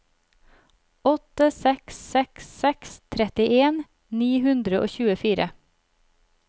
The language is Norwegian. åtte seks seks seks trettien ni hundre og tjuefire